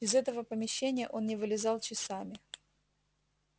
из этого помещения он не вылезал часами